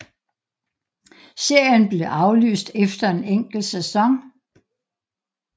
Serien blev aflyst efter en enkelt sæson